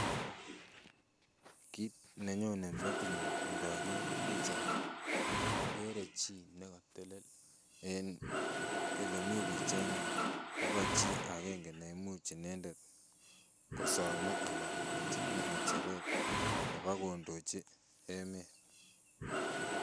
Kiit nenyone metinyun inoker pichaini, okere chi nekotelel eng elemi pichainik nebo chii akeng'e neimuch inendet kosome ana kobelchinke ng'echeret nebo kondochi emet.